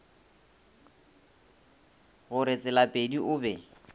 go re tselapedi o be